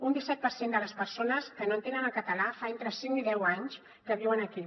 un disset per cent de les persones que no entenen el català fa entre cinc i deu anys que viuen aquí